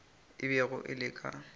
e bego e le ka